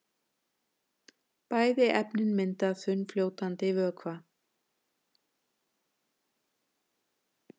Bæði efnin mynda þunnfljótandi vökva.